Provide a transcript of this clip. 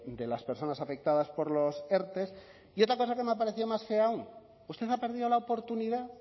de las personas afectadas por los erte y otra cosa que me ha parecido más fea aún usted ha perdido la oportunidad